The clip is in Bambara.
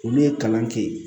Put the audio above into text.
Olu ye kalan kɛ yen